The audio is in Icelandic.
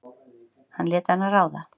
Hann lét hana ráða.